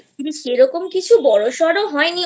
সেরম কিছু বড়সড় হয়নি